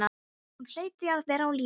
Hún hlaut því að vera á lífi.